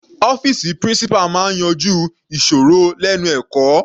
Ọ́fìsì principal máa yanjú ìsòrí lẹ́nu ẹ̀kọ́.